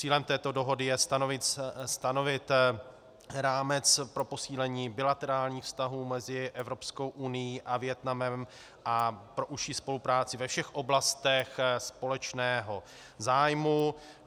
Cílem této dohody je stanovit rámec pro posílení bilaterálních vztahů mezi Evropskou unií a Vietnamem a pro užší spolupráci ve všech oblastech společného zájmu.